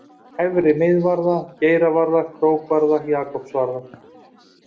Efri-Miðvarða, Geiravarða, Krókvarða, Jakobsvarða